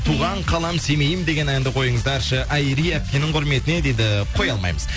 туған қалам семейім деген әнді қойыңыздаршы айри әпкенің құрметіне дейді қоя алмаймыз